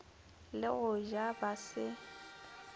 le go ja ba se